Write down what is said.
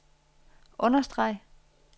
understreg